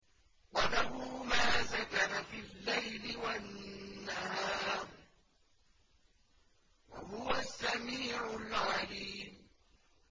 ۞ وَلَهُ مَا سَكَنَ فِي اللَّيْلِ وَالنَّهَارِ ۚ وَهُوَ السَّمِيعُ الْعَلِيمُ